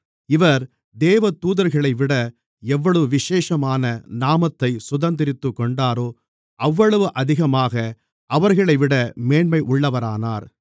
இவர் தேவதூதர்களைவிட எவ்வளவு விசேஷமான நாமத்தைச் சுதந்தரித்துக்கொண்டாரோ அவ்வளவு அதிகமாக அவர்களைவிட மேன்மையுள்ளவரானார்